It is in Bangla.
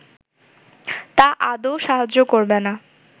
তা আদৌ সাহায্য করবে না